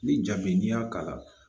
Ni ja min n'i y'a kala